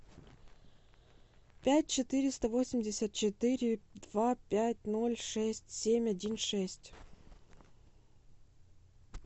пять четыреста восемьдесят четыре два пять ноль шесть семь один шесть